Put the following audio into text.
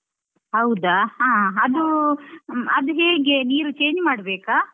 ಹೌದಾ? ಆ ಅದೂ ಅದು ಹೇಗೆ ನೀರು change ಮಾಡ್ಬೇಕಾ?